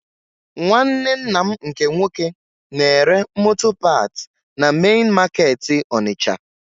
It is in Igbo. Nwanne nna m nke nwoke na-ere moto paat na mein makeetị Onitsha